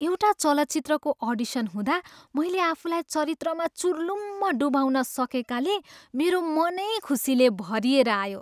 एउटा चलचित्रको अडिसन हुँदा मैले आफूलाई चरित्रमा चुर्लुम्म डुबाउँन सकेकाले मेरो मनै खुसीले भरिएर आयो।